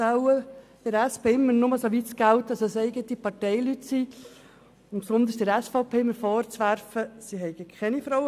Bei der SP scheint das aber nur insoweit zu gelten, als es um eigene Parteileute geht und sie der SVP vorwirft, sie habe keine Frauen.